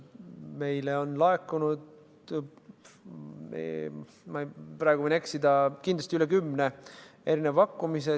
Meile on laekunud – ma võin eksida – üle kümne pakkumise.